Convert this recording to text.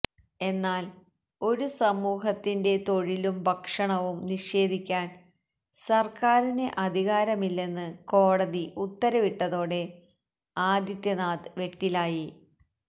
എന്നാല് ഒരു സമൂഹത്തിന്റെ തൊഴിലും ഭക്ഷണവും നിഷേധിക്കാന് സര്ക്കാരിന് അധികാരമില്ലെന്ന് കോടതി ഉത്തരവിട്ടതോടെ ആദിത്യനാഥ് വെട്ടിലായി